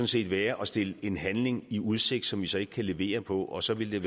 set være at stille en handling i udsigt som vi så ikke kunne levere på og så ville